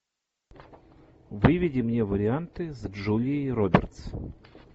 выведи мне варианты с джулией робертс